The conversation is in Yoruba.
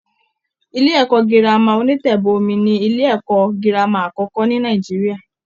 Ilé-ẹ̀kọ́ Gírámà onítẹ́bọmí ni ilé-ẹ̀kọ́ girama àkọ́kọ́ ní Nàìjíríà